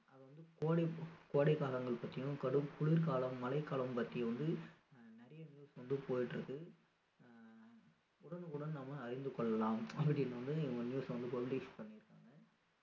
அதாவது கோடைக் காலங்கள் பத்தியும் கடும் குளிர் காலம் மழை காலம் பத்தியும் வந்து நிறைய news வந்து போயிட்டு இருக்கு ஆஹ் உடனுக்கு உடன் நம்ம அறிந்து கொள்ளலாம் அப்படின்னு வந்து இவங்க news வந்து publish பண்ணி இருக்காங்க